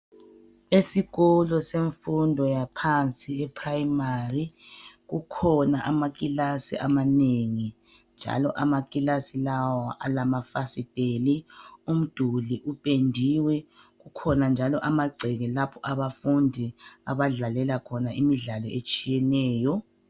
Esikolo semfundo yaphansi ephurayimari kukhona amakilasi amanengi njalo amakilasi lawa alamafasiteli umduli upendiwe kukhona njalo amagceke lapho abafundi abadlalela khona imidlalo etshiyeneyo.